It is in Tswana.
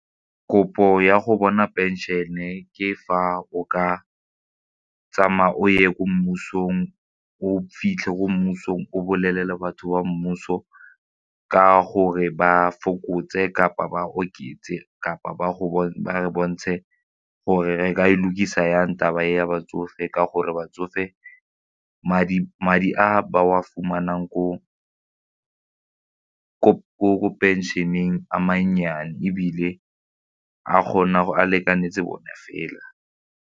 Kopo ya go bona pension-e ke fa o ka tsamaya o ye ko mmusong, o fitlhe ko mmusong o bolelele batho ba mmuso ka gore ba fokotse kapa ba oketse kapa ba ba bontshe gore re ka e lukisa jang taba ya batsofe ka gore batsofe madi a ba wa fumanang ko pension-eng a mannyane ebile a kgona go a lekanetse bone fela.